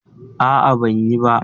A'a, ban yi ba.